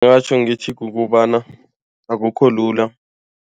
Ngingatjho ngithi kukobana akukho lula.